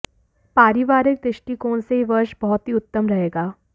पारिवारिक दृष्टिकोण से यह वर्ष बहुत ही उत्तम रहेगा